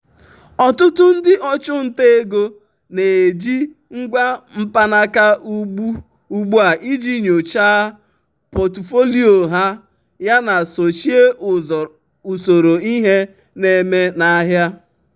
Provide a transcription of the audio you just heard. ọtụtụ ndị ọchụnta um ego um na-eji ngwa mkpanaka ugbu um a iji nyochaa pọtụfoliyo ha yana sochie usoro ihe na-eme n'ahịa.